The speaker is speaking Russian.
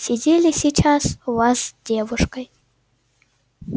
сидели сейчас у вас девушкой